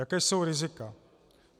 Jaká jsou rizika?